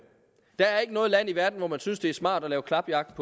der er ikke noget land i verden hvor man synes det er smart at lave klapjagt